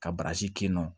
Ka barisi kin nɔ